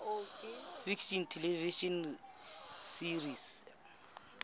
fiction television series